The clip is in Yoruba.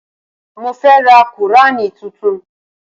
Mo fẹ́ ra qùránì tuntun